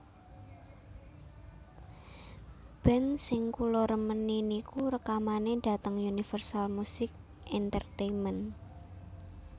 Band sing kula remeni niku rekamane dateng Universal Music Entertainment